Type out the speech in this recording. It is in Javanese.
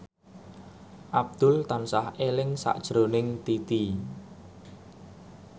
Abdul tansah eling sakjroning Titi